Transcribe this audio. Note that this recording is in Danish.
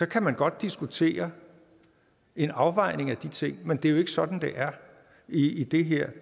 kan man godt diskutere en afvejning af de ting men det er jo ikke sådan det er i det her